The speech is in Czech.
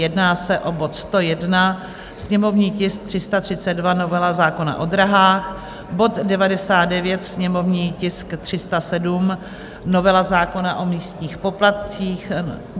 Jedná se o bod 101, sněmovní tisk 332, novela zákona o dráhách; bod 99, sněmovní tisk 307, novela zákona o místních poplatcích;